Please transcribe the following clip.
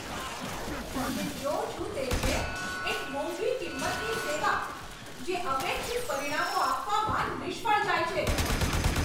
હું જે જોઉં છું તે છે, એક મોંઘી કિંમતની સેવા, જે અપેક્ષિત પરિણામો આપવામાં નિષ્ફળ જાય છે.